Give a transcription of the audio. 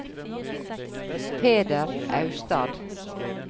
Peder Austad